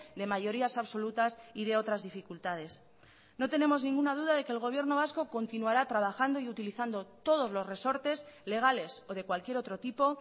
de mayorías absolutas y de otras dificultades no tenemos ninguna duda de que el gobierno vasco continuará trabajando y utilizando todos los resortes legales o de cualquier otro tipo